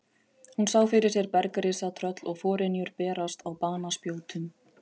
Hún sá fyrir sér bergrisa, tröll og forynjur berast á banaspjótum.